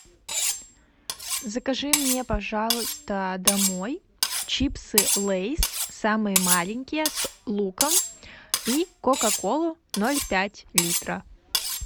закажи мне пожалуйста домой чипсы лейс самые маленькие с луком и кока колу ноль пять литра